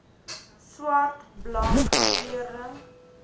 swart blank kleurling